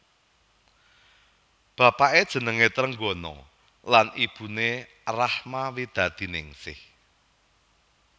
Bapaké jenengé Trenggono lan ibuné Rachma Widadiningsih